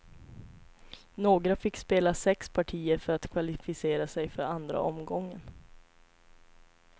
Några fick spela sex partier för att kvalificera sig för andra omgången.